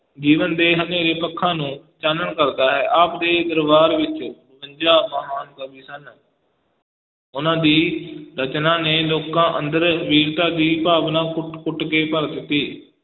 ਜੀਵਨ ਦੇ ਹਨੇਰੇ ਪੱਖਾਂ ਨੂੰ ਚਾਨਣ ਕਰਦਾ ਹੈ, ਆਪ ਦੇ ਦਰਬਾਰ ਵਿੱਚ ਬਵੰਜਾ ਮਹਾਨ ਕਵੀ ਸਨ ਉਨਾਂ ਦੀ ਰਚਨਾ ਨੇ ਲੋਕਾਂ ਅੰਦਰ ਵੀਰਤਾ ਦੀ ਭਾਵਨਾ ਕੁਟ ਕੁਟ ਕੇ ਭਰ ਦਿੱਤੀ।